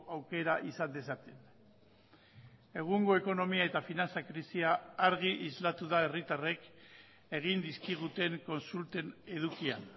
aukera izan dezaten egungo ekonomia eta finantza krisia argi islatu da herritarrek egin dizkiguten kontsulten edukian